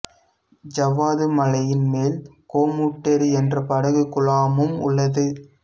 ஜவ்வாது மலையின் மேல் கோமுட்டேரி என்ற படகு குழாமும் உள்ளது